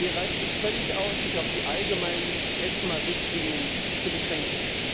Hier reicht es völlig aus, sich auf die allgemeinen ESMA Richtlinien zu beschränken.